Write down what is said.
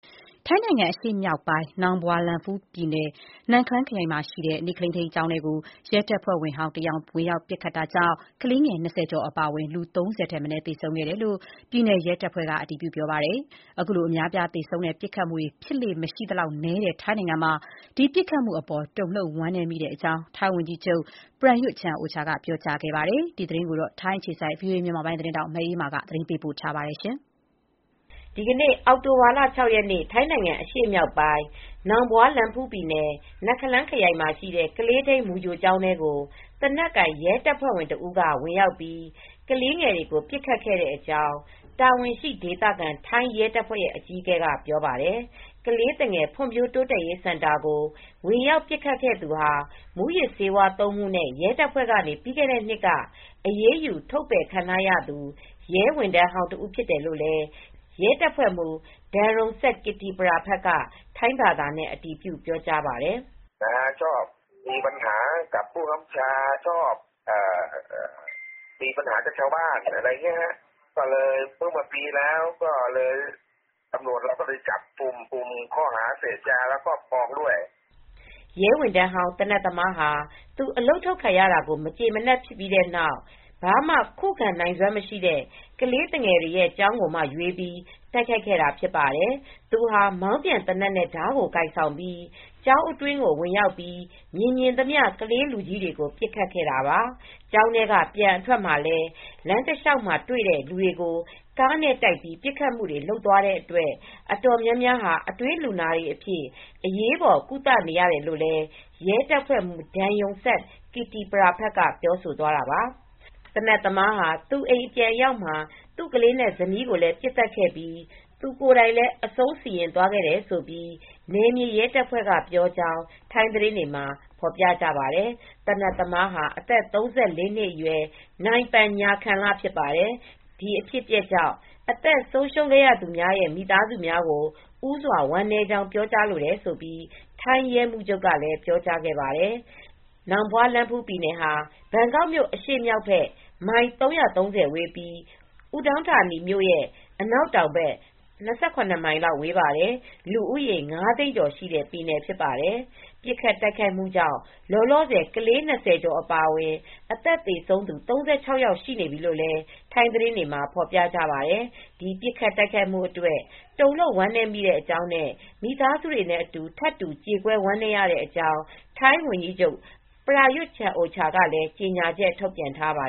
ထိုင်းနိုင်ငံ အရှေ့မြောက်ပိုင်း နောင်ဘွာလန်ဖူးပြည်နယ် နခလန်းခရိုင်မှာရှိတဲ့ နေ့ကလေးထိန်းကျောင်းထဲကို ရဲတပ်ဖွဲ့ဝင်ဟောင်းတယောက်က ဝင်ရောက်ပစ်ခတ်ခဲ့တာကြောင့် ကလေးငယ် ၂၀ ကျော်အပါအဝင် လူ ၃၀ ထက်မနည်း သေဆုံးတယ်လို့ ပြည်နယ်ရဲတပ်ဖွဲ့က အတည်ပြုပါတယ်။ ခုလို အများအပြားသေဆုံးတဲ့ ပစ်ခတ်မှုတွေဖြစ်လေ့မရှိသလောက်နည်းတဲ့ ထိုင်းနိုင်ငံမှာ ဒီပစ်ခတ်မှုအပေါ် တုန်လှုပ်ဝမ်းနည်းမိတဲ့အကြောင်း ထိုင်းဝန်ကြီးချုပ် Prayuth Chan-ocha ကပြောကြားခဲ့ပါတယ်။ ဒီသတင်းကို ထိုင်းအခြေစိုက် ဗွီအိုအေ သတင်းထောက်မအေးအေးမာက သတင်းပေးပို့ထားပါတယ်။ ဒီနေ့ အောက်တိုဘာလ ၆ ရက်နေ့ ထိုင်းနိုင်ငံအရှေ့မြောက်ပိုင်း နောင်ဘွာလန်ဖူးပြည်နယ် နခလန်းခရိုင်မှာရှိတဲ့ နေ့ကလေးထိန်းကျောင်းထဲကို ရဲတပ်ဝင်ဟောင်းတဦး သေနတ်နဲ့ဝင်ရောက်ပြီး ကလေးငယ်တွေကိုပစ်ခတ်ခဲ့တယ်လို့ တာဝန်ရှိ ဒေသခံ ထိုင်းရဲတပ်ဖွဲ့အကြီးအကဲက ပြောပါတယ်။ ကလေးသူငယ်ဖွံ့ဖြိုးတိုးတက်ရေးစင် တာကို ဝင်ရောက်ပစ်ခတ်ခဲ့သူဟာ မူးယစ်ဆေးသုံးမှုနဲ့ ရဲတပ်ဖွဲ့ကနေ ပြီးခဲ့တဲ့နှစ် က အရေးယူထုတ်ပယ်ခံရသူ ရဲဝန်ထမ်းဟောင်းတဦးဖြစ်တယ်လို့လည်း ရဲတပ်ဖွဲ့ မှူး Gen. Damrongsak Kittipraphat (ဒန်ရုံဆပ် ကစ်တီပရဖတ်) က ထိုင်းဘာသာနဲ့ အတည်ပြုပြောကြားပါတယ်။ “ရဲဝန်ထမ်းဟောင်း သေနတ်သမားဟာ အလုပ်ထုတ်ခံရတာကို မကျေမနပ်ဖြစ်ပြီး ဘာမှ ခုခံနိုင်စွမ်းမရှိတဲ့ ကလေးသူငယ်တွေရဲ့ကျောင်းကိုမှရွေးပြီး တိုက်ခိုက်ခဲ့တာဖြစ်ပါတယ်။ သူဟာ မောင်းပြန်သေနတ်နဲ့ဓါးကိုကိုင်ဆောင်ထားပြီး ကျောင်းထဲကိုဝင်ရောက်ပြီး မြင်မြင်သမျှ ကလေး လူကြီးတွေကို ပစ်ခတ်ခဲ့တာပါ။ ကျောင်းထဲကပြန်အထွက်မှာလည်း လမ်းတလျှောက်က တွေ့တဲ့လူတွေကို ကားနဲ့တိုက်ပြီးပစ်ခတ် သွားတဲ့အတွက် အတော်များများ အတွင်းလူနာတွေအဖြစ် အရေးပေါ် ကုသနေရတယ်။” လို့လည်း ရဲတပ်ဖွဲ့မှူး Gen. Damrongsak Kittipraphat က ပြောဆိုသွားတာပါ။ သေနတ်သမားဟာ သူ့အိမ်ပြန်အရောက်မှာ သူ့ကလေးနဲ့ဇနီးကိုပစ်သတ်ခဲ့ပြီး သူ ကိုယ်တိုင်လည်း အဆုံးစီရင်သွားခဲ့တယ်လို့ နယ်မြေရဲတပ်က ပြောကြောင်း ထိုင်းသတင်းတွေမှာဖော်ပြကြပါတယ်။ သေနတ်သမားဟာ အသက် ၃၄ နှစ်အရွယ် Mr. Panya Khamrab ဖြစ်ပါတယ်။ ဒီအဖြစ်အပျက်ကြောင့် အသက်ဆုံးရှုံးခဲ့ရသူများရဲ့ မိသားစုများအား ဦးစွာဝမ်းနည်းကြောင်း ပြောကြားလိုတယ်လို့ ထိုင်း ရဲမှူးချုပ်က ပြောကြားခဲ့ပါတယ်။ နောင်ဘွာလန်းဖူးပြည်နယ်ဟာ ဘန်ကောက်မြို့ အရှေ့မြောက်ဘက် မိုင် ၃၃၀ ဝေးပြီး Udon Thani မြို့ ရဲ့ အနောက်တောင်ဘက် ၂၇ မိုင်လောက် ဝေးပါတယ်။ လူဦးရေ ငါးသိန်းကျော် ရှိတဲ့ ပြည်နယ်ဖြစ်ပါတယ်။ ပစ်ခတ်တိုက်ခိုက်မှုကြောင့် လောလောဆယ် ကလေးငယ် ၂၀ ကျော်အပါအဝင် အသက်သေဆုံးသူ ၃၆ ယောက်ထိရှိနေပြီလို့လည်း ထိုင်းသတင်းတွေမှာဖော်ပြကြပါတယ်။ ဒီပစ်ခတ်တိုက်ခိုက် မှုအတွက် တုန်လှုပ်ဝမ်းနည်းမိတဲ့အကြောင်းနဲ့ မိသားစုတွေနဲ့ထပ်တူ ကြေကွဲဝမ်းနည်းရတဲ့အကြောင်း ထိုင်းဝန်ကြီးချုပ် Prayuth Chan-ocha ကလည်း ကြေညာချက် ထုတ်ပြန်ထားပါ